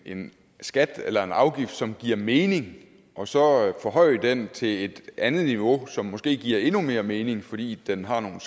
en skat eller afgift som giver mening og så forhøje den til et andet niveau som måske giver endnu mere mening fordi den har nogle